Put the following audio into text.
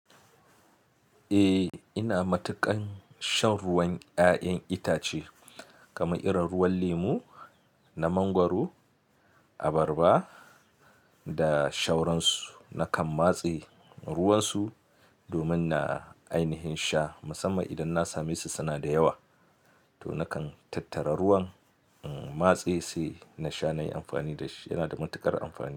Eh, ina matuƙan shan ruwan ƴa'ƴan itace kamar irin ruwan lemu, na mangwaro, abarba da shauransu. Nakan matse ruwansu domin na ainihin sha. Musamman idan na same su suna da yawa, to nakan tattara ruwan matse sai na sha na yi amfani da shi. Yana da matuƙar amfani.